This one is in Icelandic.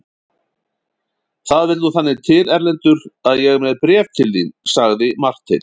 Það vill nú þannig til Erlendur að ég er með bréf til þín, sagði Marteinn.